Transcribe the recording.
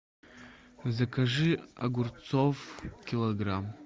закажи огурцов килограмм